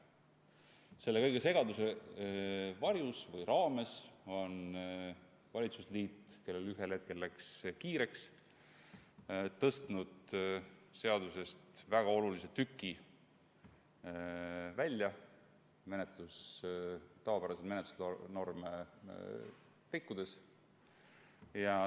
Kogu selle segaduse varjus või raames on valitsusliit, kellel ühel hetkel läks kiireks, tõstnud seaduseelnõust välja ühe väga olulise tüki, rikkudes sellega tavapäraseid menetlusnorme.